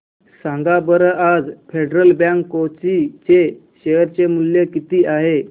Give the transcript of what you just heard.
सांगा बरं आज फेडरल बँक कोची चे शेअर चे मूल्य किती आहे